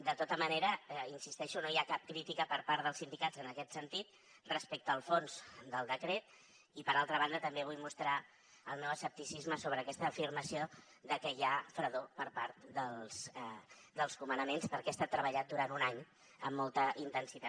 de tota manera hi insisteixo no hi ha cap crítica per part dels sindicats en aquest sentit respecte al fons del decret i per altra banda també vull mostrar el meu escepticisme sobre aquesta afirmació de que hi ha fredor per part dels comandaments perquè ha estat treballat durant un any amb molta intensitat